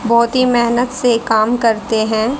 बहोत ही मेहनत से काम करते हैं।